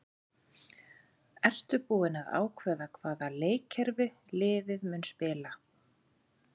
Ertu búinn að ákveða hvaða leikkerfi liðið mun spila?